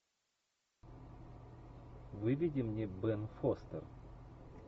выведи мне бен фостер